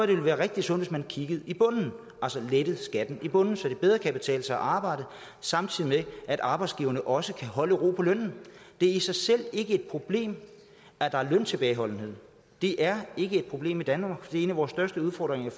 det vil være rigtig sundt hvis man kiggede i bunden altså lettede skatten i bunden så det bedre kan betale sig at arbejde samtidig med at arbejdsgiverne også kan holde ro på lønnen det er i sig selv ikke et problem at der er løntilbageholdenhed det er ikke et problem i danmark for en af vores største udfordringer